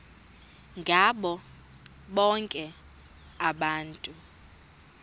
ngabo bonke abantu